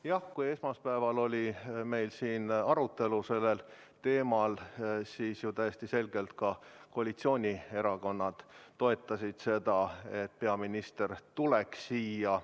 Jah, kui esmaspäeval oli meil siin arutelu sellel teemal, siis ju täiesti selgelt ka koalitsioonierakonnad toetasid seda, et peaminister tuleks siia.